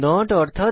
not অর্থাৎ